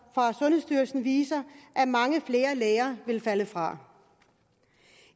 fra sundhedsstyrelsen viser at mange flere læger vil falde fra